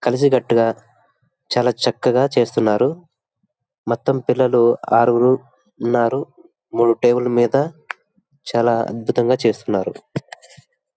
కలిసి కట్టుగా చాలా చక్కగా చేస్తున్నారు. మొత్తం పిల్లలు ఆరు గురు ఉన్నారు. మూడు టేబుల్ లు మీద చాలా అద్భుతంగా చేస్తున్నారు.